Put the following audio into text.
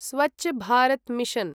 Swachh Bharat mission